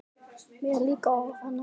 Mér líka orð hennar illa: